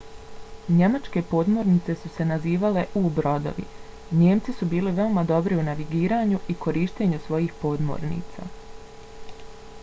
njemačke podmornice su se nazivale u-brodovi. njemci su bili veoma dobri u navigiranju i korištenju svojih podmornica